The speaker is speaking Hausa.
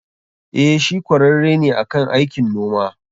Eh, shi kwararre ne akan aikin noma.